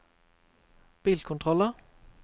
bilkontroller